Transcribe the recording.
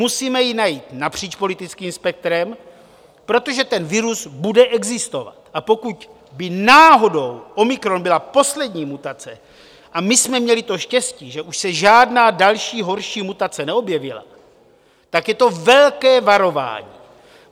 Musíme ji najít napříč politickým spektrem, protože ten virus bude existovat, a pokud by náhodou omikron byla poslední mutace a my jsme měli to štěstí, že už se žádná další, horší mutace neobjevila, tak je to velké varování.